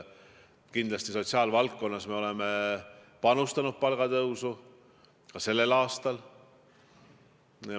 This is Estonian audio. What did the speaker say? Kindlasti oleme me panustanud sotsiaalvaldkonnas palgatõusu ka sellel aastal.